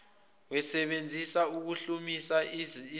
wemisebenzi yokuhlumisa izimilo